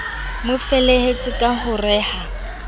mofelehetse ka ho re ha